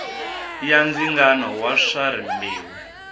ya ndzingano wa swa rimbewu